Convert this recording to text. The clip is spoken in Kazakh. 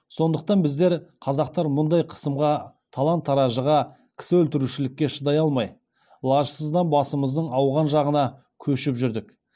сондықтан біздер қазақтар мұндай қысымға талан таражыға кісі өлтірушілікке шыдай алмай лажсыздан басымыздың ауған жағына көшіп жүрдік